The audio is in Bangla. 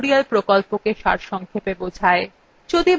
এটি spoken tutorial প্রকল্পটি সারসংক্ষেপে বোঝায়